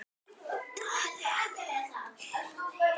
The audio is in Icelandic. Svona byrjaði þetta.